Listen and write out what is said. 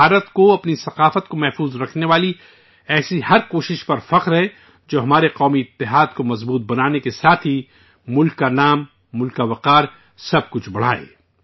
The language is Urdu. بھارت کو اپنی ثقافت کو محفوظ کرنے والی ایسی ہر کوشش پر فخر ہے، جو ہمارے قومی اتحاد کو مضبوطی بخشنے کے ساتھ ہی ملک کا نام، ملک کا وقار، سب کچھ بڑھائے